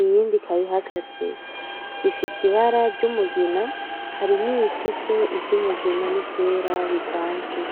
Iyindi ikaba ihagaze. Zifise ibara ry'umugina, hari niyifise iry'umugina niryera bivanze.